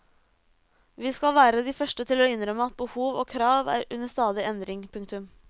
Vi skal være de første til å innrømme at behov og krav er under stadig endring. punktum